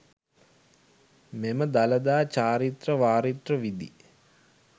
මෙම දළදා චාරිත්‍ර වාරිත්‍ර විධි